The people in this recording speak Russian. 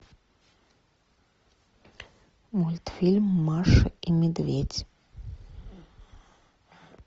мультфильм маша и медведь